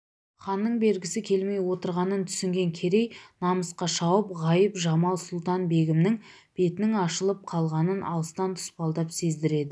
ханның бергісі келмей отырғанын түсінген керей намысқа шауып ғайып-жамал-сұлтан-бегімнің бетінің ашылып қалғанын алыстан тұспалдап сездіреді